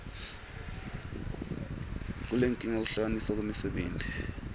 kulenkinga kuhlukaniswa kwemisebenti